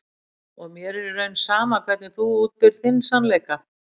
Og mér er í raun sama hvernig þú útbýrð þinn sannleika.